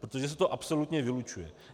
Protože se to absolutně vylučuje.